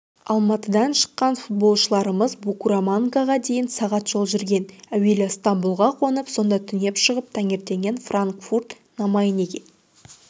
алматыдан шыққан футболшыларымыз букурамангаға дейін сағат жол жүрген әуелі стамбұлға қонып сонда түнеп шығып таңертең франкфурт-на-майнеге